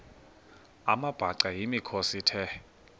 amabhaca yimikhosi the